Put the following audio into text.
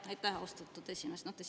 Aitäh, austatud esimees!